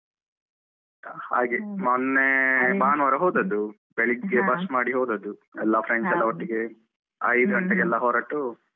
ಹಾಗೆ ಮೊನ್ನೆ ಭಾನುವಾರ ಹೋದದ್ದು ಬೆಳಿಗ್ಗೆ bus ಮಾಡಿ ಹೋದದ್ದು ಎಲ್ಲ friends ಎಲ್ಲ ಒಟ್ಟಿಗೆ ಐದು ಗಂಟೆಗೆಲ್ಲ ಹೊರಟು.